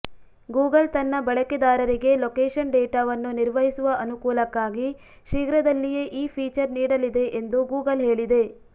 Google ತನ್ನ ಬಳಕೆದಾರರಿಗೆ location ಡೇಟಾವನ್ನು ನಿರ್ವಹಿಸುವ ಅನುಕೂಲಕ್ಕಾಗಿ ಶೀಘ್ರದಲ್ಲಿಯೇ ಈ ಫೀಚರ್ ನೀಡಲಿದೆ ಎಂದು ಗೂಗಲ್ ಹೇಳಿದೆ